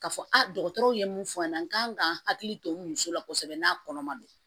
Ka fɔ dɔgɔtɔrɔw ye mun fɔ n ɲɛna n kan ka hakili to muso la kosɛbɛ n'a kɔnɔ ma don